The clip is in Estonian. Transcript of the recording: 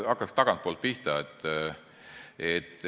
Hakkan tagantpoolt pihta.